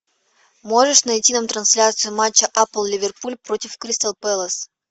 можешь найти нам трансляцию матча апл ливерпуль против кристал пэлас